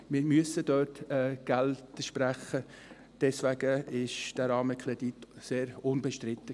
Wir müssen dort Geld sprechen, deswegen ist dieser Rahmenkredit sehr unbestritten.